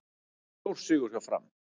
Stórsigur hjá Fram